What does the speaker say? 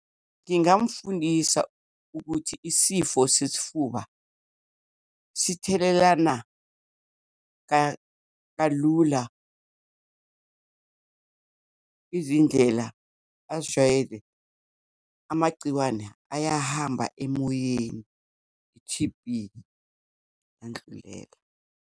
Ngingamfundisa ukuthi isifo sesifuba sithelelana kalula. Izindlela azijwayele, amagciwane ayahamba emoyeni, i-T_B iyandlulela.